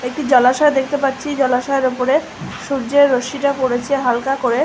একটি জলাশয় দেখতে পাচ্ছি। জলাশয়ের ওপরে সূর্যের রশ্মিটা পড়েছে হালকা করে।